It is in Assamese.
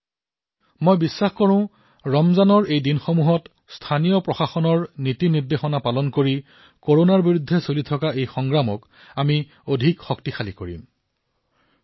মোৰ বিশ্বাস যে ৰমজানৰ দিন কেইটাত স্থানীয় প্ৰশাসনৰ নিৰ্দেশনাসমূহৰ পালন কৰি কৰোনাৰ বিৰুদ্ধে চলি থকা যুদ্ধখনক অধিক শক্তিশালী কৰি তুলিব